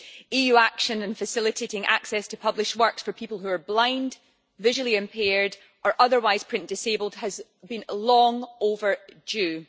EU action on facilitating access to published works for people who are blind, visually impaired or otherwise print disabled has been long overdue.